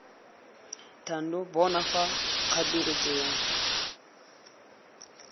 thando bona fa kgature tseo